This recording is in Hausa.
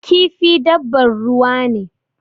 Kifi dabbar ruwa ne.